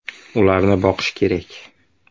Ularni boqish kerak.